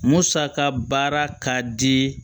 Musaka baara ka di